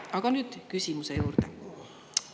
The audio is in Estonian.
Aga nüüd küsimuse juurde.